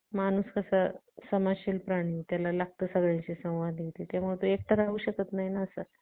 बर. तुम्ही doctor कडे गेला ना गेला कि नाही? औषध घेतले कि नाही? हा मुद्दा आहे.